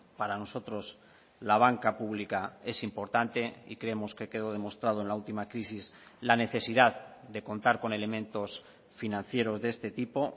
para nosotros la banca pública es importante y creemos que quedó demostrado en la última crisis la necesidad de contar con elementos financieros de este tipo